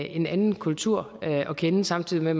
en anden kultur at kende samtidig med